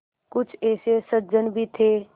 कुछ ऐसे सज्जन भी थे